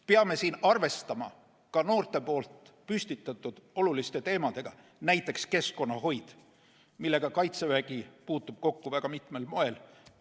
Peame arvestama ka noorte püstitatud oluliste teemadega, näiteks keskkonnahoid, millega Kaitsevägi puutub kokku väga mitmel moel.